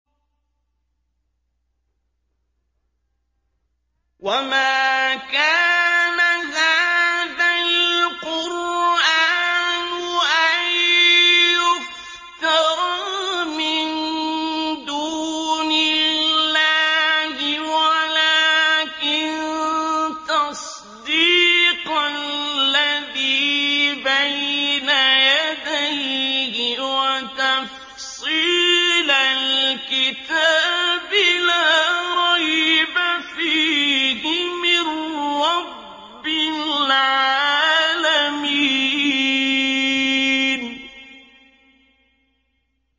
وَمَا كَانَ هَٰذَا الْقُرْآنُ أَن يُفْتَرَىٰ مِن دُونِ اللَّهِ وَلَٰكِن تَصْدِيقَ الَّذِي بَيْنَ يَدَيْهِ وَتَفْصِيلَ الْكِتَابِ لَا رَيْبَ فِيهِ مِن رَّبِّ الْعَالَمِينَ